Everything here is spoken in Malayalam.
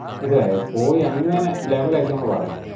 മനസ്സിലായോ പോയി അങ്ങനെ level ആക്കി നമ്മള് വരണം.